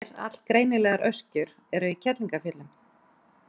Tvær allgreinilegar öskjur eru í Kerlingarfjöllum.